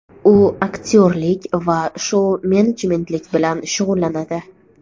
U aktyorlik va shou menejmentlik bilan shug‘ullanadi.